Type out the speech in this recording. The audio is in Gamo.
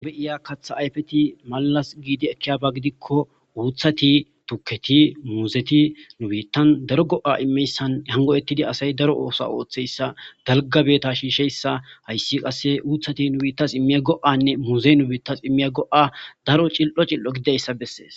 ube7iya katha ayfeti malalas giidi ekkiyaba gidikko uuthati tuketi muuzeti nu biittan daro go7a immeyssan hango ettidi asay daro oosa ooththeyssa dalgabeta shiisheyssa hayssi qasse uuthati nu biittas immiya go7anne muuzey nu biittas immiya go7a daro cil7o cil7o gidayssa bessees